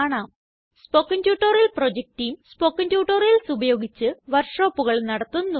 spoken tutorial project team spoken tutorials ഉപയോഗിച്ച് വര്ക്ഷോപ്പുകള് നടത്തുന്നു